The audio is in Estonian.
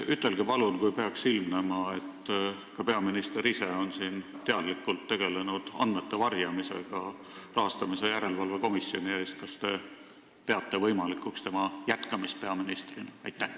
Ütelge palun, kas te siis, kui peaks ilmnema, et ka peaminister ise on siin teadlikult tegelenud andmete varjamisega rahastamise järelevalve komisjoni eest, peate võimalikuks tema jätkamist peaministrina.